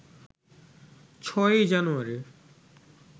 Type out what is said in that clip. ৬ই জানুয়ারী